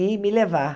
E me levar.